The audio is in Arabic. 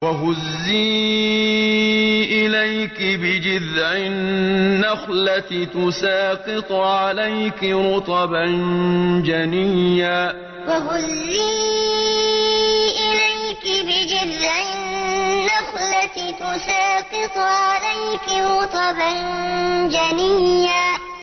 وَهُزِّي إِلَيْكِ بِجِذْعِ النَّخْلَةِ تُسَاقِطْ عَلَيْكِ رُطَبًا جَنِيًّا وَهُزِّي إِلَيْكِ بِجِذْعِ النَّخْلَةِ تُسَاقِطْ عَلَيْكِ رُطَبًا جَنِيًّا